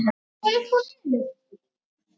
Ertu til í það?